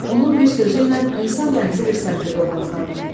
Onun bir sözü ilə insan dənizi bir səmtə doğru axardı.